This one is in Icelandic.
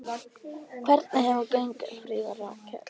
Hvernig hefur gengið, Fríða Rakel?